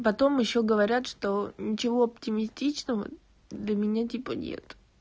потом ещё говорят что ничего оптимистичного для меня типа нет